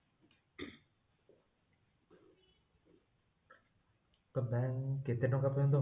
ତ bank କେତେ ଟଙ୍କା ପର୍ଯ୍ୟନ୍ତ